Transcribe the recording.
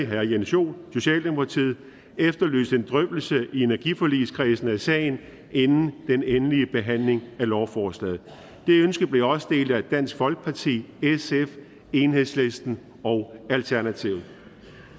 herre jens joel socialdemokratiet efterlyst en drøftelse i energiforligskredsen af sagen inden den endelige behandling af lovforslaget det ønske blev også delt af dansk folkeparti sf enhedslisten og alternativet